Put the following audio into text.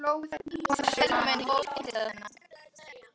Svo hlógu þær að þessu öllu saman.